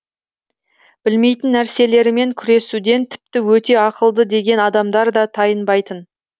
білмейтін нәрселерімен күресуден тіпті өте ақылды деген адамдар да тайынбайтын